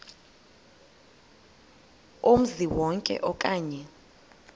kumzi wonke okanye